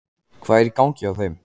Hvað er í gangi hjá þeim?